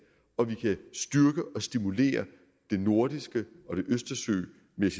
og vi kan styrke og stimulere det nordiske